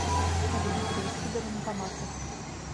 салют провести до банкомата